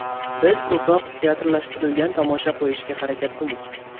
Biz ko‘proq teatrlashtirilgan tomosha qo‘yishga harakat qildik.